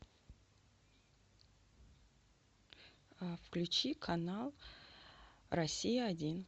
включи канал россия один